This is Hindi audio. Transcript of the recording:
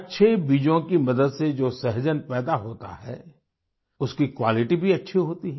अच्छे बीजों की मदद से जो सहजन पैदा होता है उसकी क्वालिटी भी अच्छी होती है